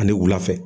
Ani wula fɛ